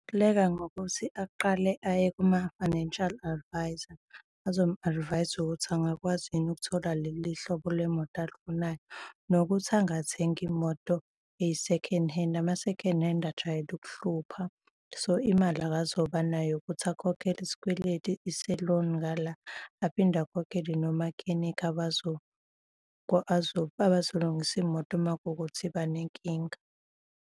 ngokuthi aqale aye kuma-financial advisor azomu-advise-a ukuthi angakwazi yini ukuthola leli hlobo lwemoto alifunayo nokuthi angathengi imoto eyi-second hand. Ama-second hand ajwayele ukuhlupha. So, imali akazoba nayo ukuthi akhokhele isikweleti, ise-loan ngala, aphinde akhokhele no-makhenikha abazolungisa imoto uma kuwukuthi iba nenkinga.